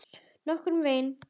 Nokkurn veginn.